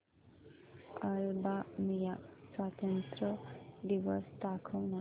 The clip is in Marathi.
अल्बानिया स्वातंत्र्य दिवस दाखव ना